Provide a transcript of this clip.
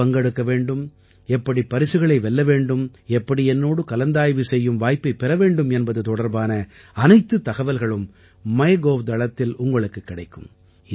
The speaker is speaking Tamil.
எப்படி பங்கெடுக்க வேண்டும் எப்படி பரிசுகளை வெல்ல வேண்டும் எப்படி என்னோடு கலந்தாய்வு செய்யும் வாய்ப்பைப் பெற வேண்டும் என்பது தொடர்பான அனைத்துத் தகவல்களும் மைகவ் தளத்தில் உங்களுக்குக் கிடைக்கும்